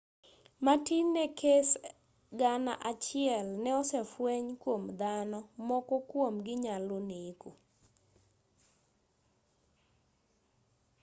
matin ne kese gana achiel ne osefweny kuom dhano moko kuom-gi nyalo neko